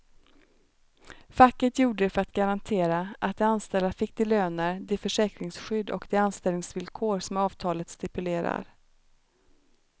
Facket gjorde det för att garantera att de anställda fick de löner, det försäkringsskydd och de anställningsvillkor som avtalet stipulerar.